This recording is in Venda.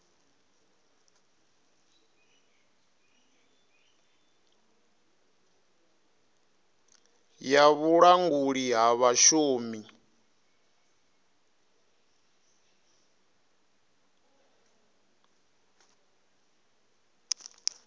ya vhulanguli ha vhashumi yo